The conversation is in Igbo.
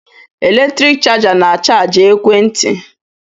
Eletriki chaja na-achajị ekwe nti